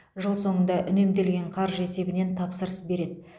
жыл соңында үнемделген қаржы есебінен тапсырыс береді